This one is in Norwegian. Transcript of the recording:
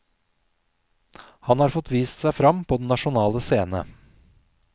Han har fått vist seg frem på den nasjonale scene.